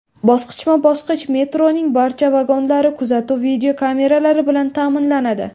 Bosqichma-bosqich metroning barcha vagonlari kuzatuv videokameralari bilan ta’minlanadi.